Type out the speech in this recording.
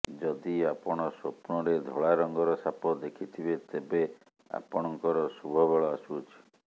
ଯଦି ଆପଣ ସ୍ୱପ୍ନରେ ଧଳା ରଙ୍ଗର ସାପ ଦେଖୁଥିବେ ତେବେ ଆପଣଙ୍କର ଶୁଭ ବେଳ ଆସୁଅଛି